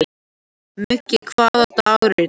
Muggi, hvaða dagur er í dag?